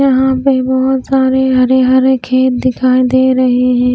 यहां पे बहुत सारे हरे हरे खेत दिखाई दे रहे हैं।